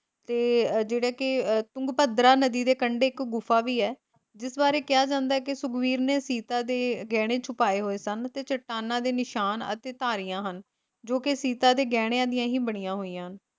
ਤੇ ਜਿਹੜਾ ਕਿ ਤੁੰਗਭਦਰਾ ਨਦੀ ਦੇ ਕੰਢੇ ਇੱਕ ਗੁਫਾ ਵੀ ਹੈ, ਜਿਸ ਬਾਰੇ ਕਿਹਾ ਜਾਂਦਾ ਹੈ ਕੀ ਸੁਗਰੀਵ ਨੇ ਸੀਤਾ ਦੇ ਗਹਿਣੇ ਛੁਪਾਏ ਹੋਏ ਸਨ ਤੇ ਚੱਟਾਨਾਂ ਦੇ ਨਿਸ਼ਾਨ ਅਤੇ ਧਾਰੀਆਂ ਹਨ ਜੋ ਕੇ ਸੀਤਾ ਦੇ ਗਹਿਣਿਆਂ ਦੀਆਂ ਬਣੀਆਂ ਹੋਈਆਂ ਹਨ।